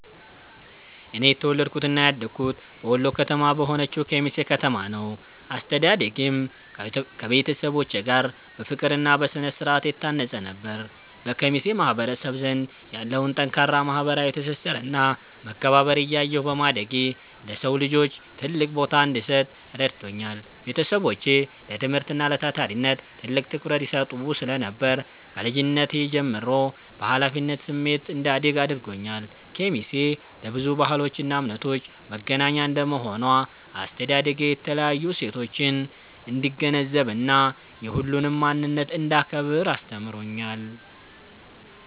እኔ የተወለድኩትና ያደግኩት በወሎ ከተማ በሆነችው ኬሚሴ ከተማ ነው። አስተዳደጌም ከቤተሰቦቼ ጋር በፍቅርና በስነ-ስርዓት የታነጸ ነበር። በኬሚሴ ማህበረሰብ ዘንድ ያለውን ጠንካራ ማህበራዊ ትስስርና መከባበር እያየሁ በማደጌ፣ ለሰው ልጅ ትልቅ ቦታ እንድሰጥ ረድቶኛል። ቤተሰቦቼ ለትምህርትና ለታታሪነት ትልቅ ትኩረት ይሰጡ ስለነበር፣ ከልጅነቴ ጀምሮ በኃላፊነት ስሜት እንዳድግ አድርገውኛል። ኬሚሴ ለብዙ ባህሎችና እምነቶች መገናኛ እንደመሆኗ፣ አስተዳደጌ የተለያዩ እሴቶችን እንድገነዘብና የሁሉንም ማንነት እንዳከብር አስተምሮኛል።